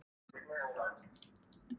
Spæld og þvæld.